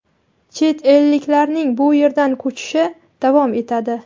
chet elliklarning bu yerdan ko‘chishi davom etadi.